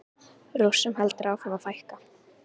Rússum heldur áfram að fækka